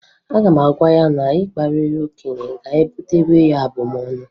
Aga m agwa ya na ịkparị okenye ga-ebutere ya abụmọnụ